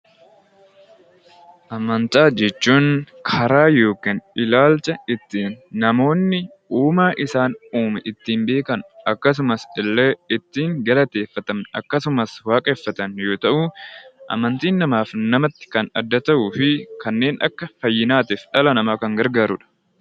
Amantaa jechuun karaa yookiin ilaalcha ittiin namoonni uumaa isaan uume ittiin beekan akkasumas illee ittiin galateeffatan akkasumas waaqeffatan yoo ta'u, amantiin namaaf namatti kan adda ta'uu fi kanneen akka fayyinaatiif dhala namaa gargaarudha.